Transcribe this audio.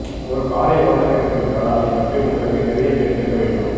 ஒரு காரை ஓட்டவேண்டும் என்றால் அதைப் பற்றி உங்களுக்கு நிறையத் தெரிந்திருக்க வேண்டும்